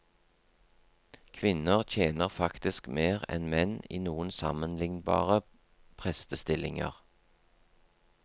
Kvinner tjener faktisk mer enn menn i noen sammenlignbare prestestillinger.